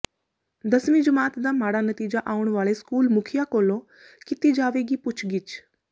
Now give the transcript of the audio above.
ਦਸਵੀਂ ਜਮਾਤ ਦਾ ਮਾੜਾ ਨਤੀਜਾ ਆਉਣ ਵਾਲੇ ਸਕੂਲ ਮੁਖੀਆ ਕੋਲੋਂ ਕੀਤੀ ਜਾਵੇਗੀ ਪੁੱਛ ਗਿੱਛ